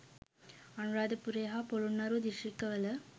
අනුරාධපුරය හා ‍පොළොන්නරුව දිස්ත්‍රික්කවල